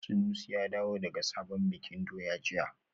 Sanusi ya dawo daga sabon bikin doya jiya